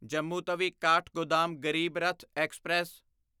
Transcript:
Jammu Tawi Kathgodam Garib Rath express